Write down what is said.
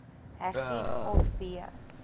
hersien of b